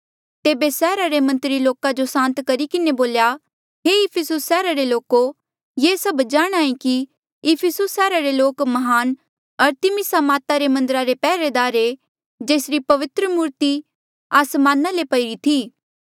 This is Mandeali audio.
तेबे सैहरा रे मंत्री लोका जो सांत करी किन्हें बोल्या हे इफिसियो सैहरा रे लोको ये सब जाणहां ऐें कि इफिसुस सैहरा रे लोक म्हान अरतिमिसा माता रे मन्दर रे पैहरेदार आ जेसरी पवित्र मूर्ति आसमान ले पईरी थी